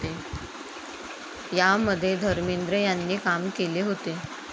या मध्ये धर्मेंद्र यांनी काम केले होते.